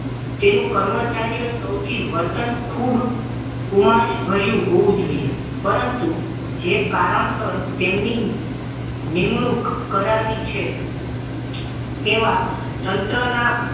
તેનું કર્મચારીઓનું સૌથી વર્તન ખૂબ ઉમાસ ભર્યું હોવું જોઈએ પરંતુ જે કારણસર તેમની નિમણૂક કરવી છે તેવા તંત્રના